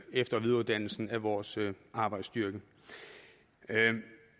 efter og videreuddannelsen af vores arbejdsstyrke